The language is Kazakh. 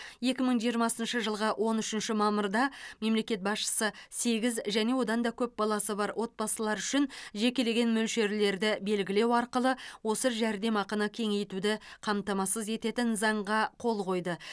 екі мың жиырмасыншы жылғы он үшінші мамырда мемлекет басшысы сегіз және одан да көп баласы бар отбасылар үшін жекелеген мөлшерлерді белгілеу арқылы осы жәрдемақыны кеңейтуді қамтамасыз ететін заңға қол қойды